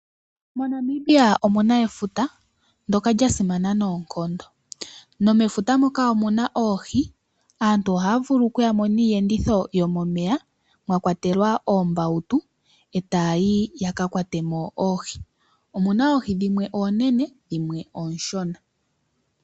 MoNamibia omuna efuta ndjoka lyasimana noonkondo nomefuta moka omuna oohi. Aantu ohaya vulu okuyamo niiyeditho yomomeya mwakwatelwa oombawutu etayayi yakakwate mo oohi. Omuna oohi dhimwe oonene dhimwe oonshona.